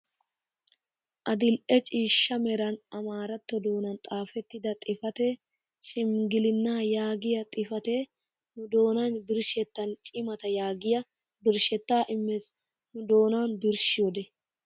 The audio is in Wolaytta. Adil'e ciishsha meran amaaratto doonan xaafettida xifatee "shimgilinaa" yaagiyaa xifatee nu doonana birshettaa "cimataa" yaagiyaa birshettaa immees nu doonan birshiyoode.